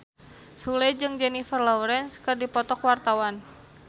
Sule jeung Jennifer Lawrence keur dipoto ku wartawan